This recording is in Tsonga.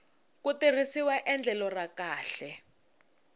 ku tirhisiwa endlelo ra kahle